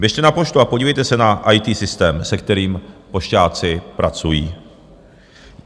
Běžte na poštu a podívejte se na IT systém, se kterým pošťáci pracují.